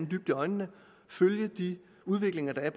dybt i øjnene og følge de udviklinger der er